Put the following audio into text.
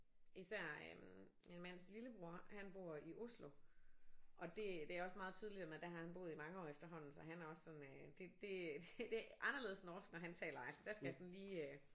Især øh min mands lillebror han bor i Oslo og det det er også meget tydeligt man der har han boet i mange år efterhånden så han er også sådan øh det det det er anderledes norsk han taler altså der skal jeg sådan lige øh